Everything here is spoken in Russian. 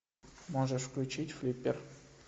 можешь включить флиппер